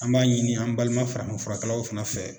An b'a ɲini an balima farafinfurakɛlaw fana fɛ